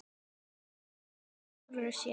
Vinna í sjálfum sér.